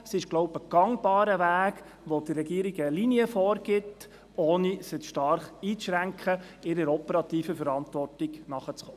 Es dürfte ein gangbarer Weg sein, welcher der Regierung eine Linie vorgibt, ohne sie zu stark dabei einzuschränken, ihrer operativen Verantwortung nachzukommen.